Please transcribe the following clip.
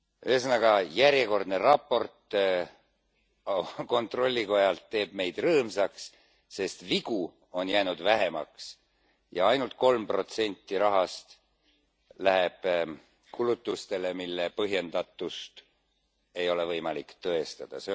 Ühesõnaga, järjekordne raport kontrollikojalt teeb meid rõõmsaks, sest vigu on jäänud vähemaks ja ainult kolm protsenti rahast läheb kulutustele, mille põhjendatust ei ole võimalik tõestada.